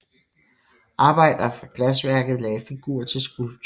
Arbejdere fra glasværket lagde figur til skulpturen